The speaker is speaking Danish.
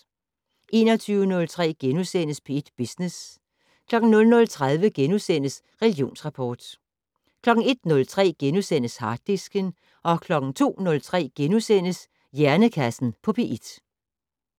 21:03: P1 Business * 00:30: Religionsrapport * 01:03: Harddisken * 02:03: Hjernekassen på P1 *